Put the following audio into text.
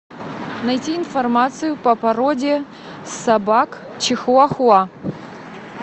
найти информацию по породе собак чихуа хуа